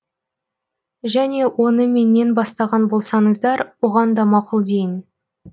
және оны менен бастаған болсаңыздар оған да мақұл дейін